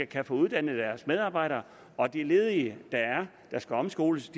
kan få uddannet deres medarbejdere og at de ledige der skal omskoles